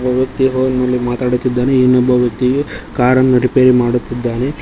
ಒಬ್ಬ ವ್ಯಕ್ತಿಯು ಫೋನ್ನಲ್ಲಿ ಮಾತಾಡುತ್ತಿದ್ದಾನೆ ಇನ್ನೊಬ್ಬ ವ್ಯಕ್ತಿಯು ಕಾರನ್ನು ರಿಪೇರಿ ಮಾಡುತ್ತಿದ್ದಾನೆ.